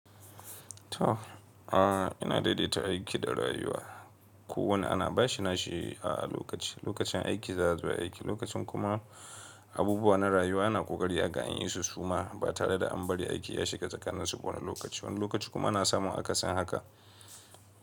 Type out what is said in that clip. To a ina daidaita aiki da rayuwa. Ko wane ana bashi nashi a lokaci, lokacin aiki za a zo ai aiki, lokacin kuma abubuwa na rayuwa ana ƙoƙari aga an yi su suma ba tare da an bari aiki ya shiga tsakaninsu wani lokaci. Wani lokaci kuma ana samun akasin haka.